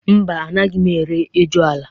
Mba, anaghị m eri ejula.